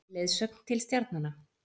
Leiðsögn til stjarnanna.